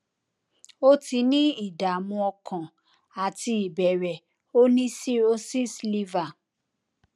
ó ti ní ìdààmú ọkàn àti ìbẹrẹ ó ní cirrhosis liver